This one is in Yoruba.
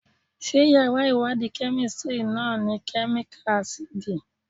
Ṣé yàrá ìwádìí Kẹ́mísítírì náà ni Kẹ́míkà ásídì?